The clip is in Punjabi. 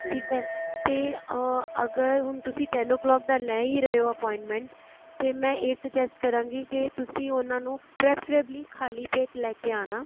ਠੀਕ ਹੈ ਤੇ ਅਹ ਅਗਰ ਹੁਣ ਤੁਸੀਂ ten o clock ਦਾ ਲੈ ਹੀ ਰਹੇ ਹੋ appointment ਤੇ ਮੈ ਇਹ suggest ਕਰਾਂਗੀ ਕੀ ਤੁਸੀਂ ਉਹਨਾ ਨੂੰ preferably ਖ਼ਾਲੀ ਪੇਟ ਲੈਕੇ ਆਣਾ